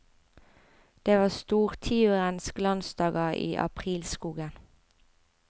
Det var stortiurens glansdager i aprilskogen.